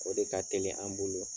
O de ka teli an bolo.